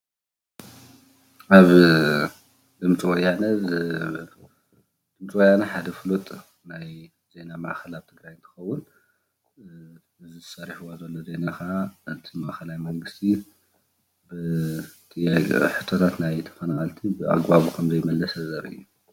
ኣብ ድምፂ ወያነ ሓደ ፉሉጥ ናይ ዜና ማዕከናት ትግራይ እንትከውን እዚ ሰሪሕዎ ዘሎ ዜና ከዓ ነቲ ማእከላይ መንግስቲ ብፍላይ ናይ ተፈናቀልቲ ሕቶታት ብኣግባቡ ከም ዘይመለሰ ተዛሪቡ እዩ፡፡